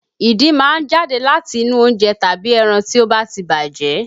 Ìdin máa ń jáde láti inú oúnjẹ tàbí ẹran tí ó ba ti bàjẹ́